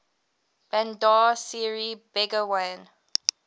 bandar seri begawan